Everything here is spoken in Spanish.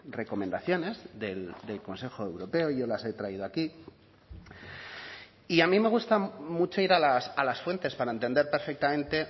recomendaciones del consejo europeo yo las he traído aquí y a mí me gusta mucho ir a las fuentes para entender perfectamente